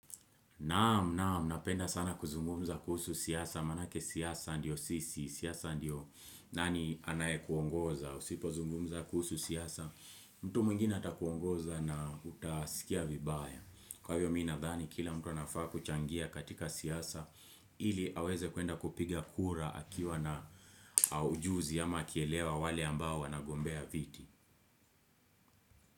Naam, naam, napenda sana kuzungumza kuhusu siasa, maanake siasa ndio sisi. Siasa ndio nani anayekuongoza, usipo zungumuza kuhusu siasa, mtu mwingina atakuongoza na utasikia vibaya. Kwa hiyo mimi nadhani, kila mtu anafaa kuchangia katika siasa, ili aweze kwenda kupiga kura akiwa na ujuzi ama akielewa wale ambao wanagombea viti.